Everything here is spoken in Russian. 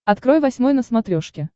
открой восьмой на смотрешке